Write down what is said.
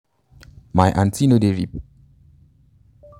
my aunty no dey